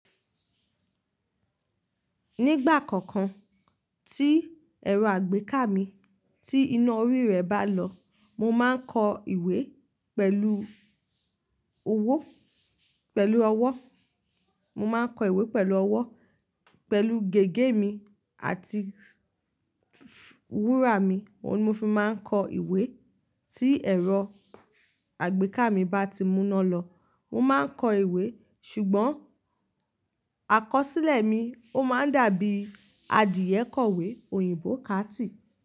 Nígbà kọ̀ọ̀kan tí ẹ̀rọ àgbéká mi tí iná orí rẹ̀ bá lọ, mo máa ń kọ ìwé pẹ̀lú owó, pẹ̀lú ọwọ́, mo máa ń kọ ìwé pẹ̀lú ọwọ́, pẹ̀lú gègé mi àti wúrà mi. Óun ni mo fi máa ń kọ ìwé tí ẹ̀rọ àgbéká mi bá ti múná lọ. Mo máa ń kọ ìwé ṣùgbọ́n àkọsílẹ̀ mi ó máa ń dàbí adìẹ kọ̀wé òyìnbó káàti.